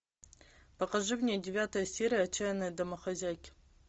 покажи мне девятая серия отчаянные домохозяйки